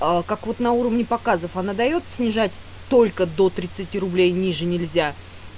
а как вот на уровне показов она даёт снижать только до тридцати рублей ниже нельзя